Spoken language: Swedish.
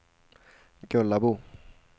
Gullabo